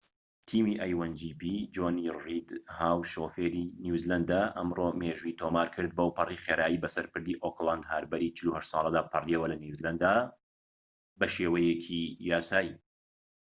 جۆنی ڕید هاو شۆفێری a1gp تیمی نیوزلەندە ئەمڕۆ مێژووی تۆمار کرد بەوپەڕی خێرایی بەسەر پردی ئۆکلەند هاربەری ٤٨ ساڵەدا پەڕیەوە لە نیوزیلەندە بە شێوەیەکی یاسایی